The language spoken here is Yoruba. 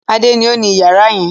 Adé ni ó ní ìyàrá yẹn.